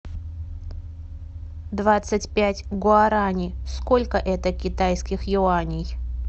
двадцать пять гуарани сколько это китайских юаней